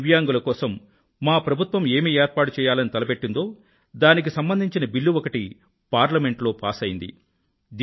దివ్యాంగుల కోసం మా ప్రభుత్వం ఏమి ఏర్పాటుచేయాలని తలపెట్టిందో దానికి సంబంధించిన బిల్లు ఒకటి పార్లమెంట్ లో పాస్ అయ్యింది